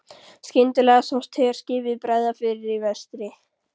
Skyndilega sást herskipi bregða fyrir í vestri.